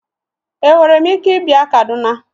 Enwere m ike ịbịa Kaduna?